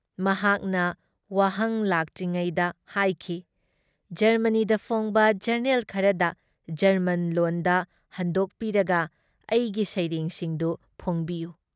ꯃꯍꯥꯛꯀꯤ ꯋꯥꯍꯪ ꯂꯥꯛꯇ꯭ꯔꯤꯉꯥꯏꯗ ꯍꯥꯏꯈꯤ- ꯖꯔꯃꯅꯤꯗ ꯐꯣꯡꯕ ꯖꯔꯅꯦꯜ ꯈꯔꯗ ꯒꯔꯃꯟ ꯂꯣꯟꯗ ꯍꯟꯗꯣꯛꯄꯤꯔꯒ ꯑꯩꯒꯤ ꯁꯩꯔꯦꯡꯁꯤꯡꯗꯨ ꯐꯣꯡꯕꯤꯌꯨ ꯫